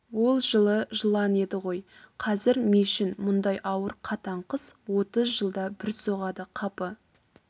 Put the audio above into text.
ол жылы жылан еді ғой қазір мешін мұндай ауыр қатаң қыс отыз жылда бір соғады қапы